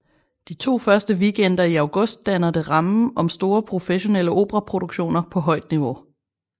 De to første weekender i august danner det rammen om store professionelle operaproduktioner på højt niveau